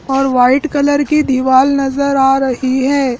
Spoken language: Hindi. और वाइट कलर की दीवाल नजर आ रही है।